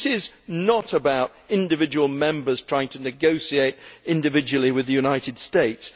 This is not about individual Members trying to negotiate individually with the United States.